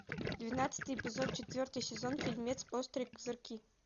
двенадцатый эпизод четвертый сезон фильмец острые козырьки